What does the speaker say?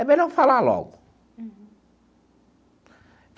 É melhor falar logo. Uhum.